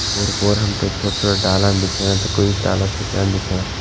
ओर पोर हमतैं छोट-छोटा डालान दिखेणा त कुई डाला सुख्यां दिखेणा।